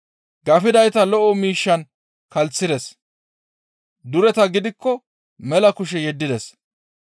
Gafidayta lo7o miishshan kalssides; dureta gidikko mela kushe yeddides.